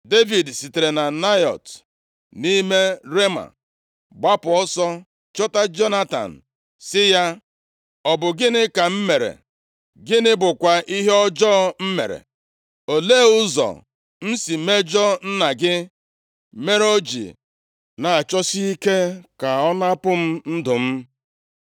Devid sitere na Naịọt nʼime Rema gbapụ ọsọ, chọta Jonatan, sị ya, “Ọ bụ gịnị ka m mere? Gịnị bụkwa ihe ọjọọ m mere? Olee ụzọ m si mejọọ nna gị, mere o ji na-achọsi ike ka ọ napụ m ndụ m?”